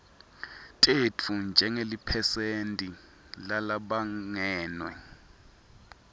tetfu njengeliphesenti lalabangenwe